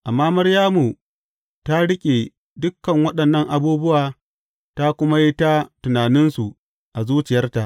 Amma Maryamu ta riƙe dukan waɗannan abubuwa ta kuma yi ta tunaninsu a zuciyarta.